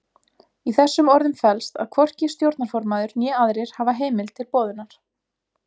Í þessum orðum felst að hvorki stjórnarformaður né aðrir hafa heimild til boðunar.